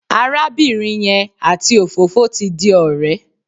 Arábìnrin yẹn àti òfófó ti di ọ̀rẹ́.